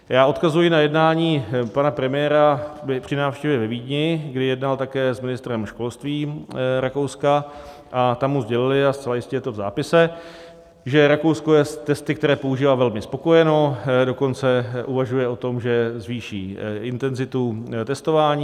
Já odkazuji na jednání pana premiéra při návštěvě ve Vídni, kdy jednal také s ministrem školství Rakouska a tam mu sdělili - a zcela jistě je to v zápise - že Rakousko je s testy, které používá, velmi spokojeno, dokonce uvažuje o tom, že zvýší intenzitu testování.